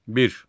1.